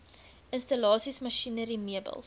installasies masjinerie meubels